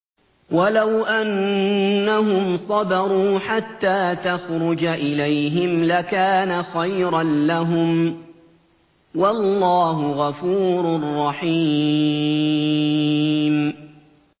وَلَوْ أَنَّهُمْ صَبَرُوا حَتَّىٰ تَخْرُجَ إِلَيْهِمْ لَكَانَ خَيْرًا لَّهُمْ ۚ وَاللَّهُ غَفُورٌ رَّحِيمٌ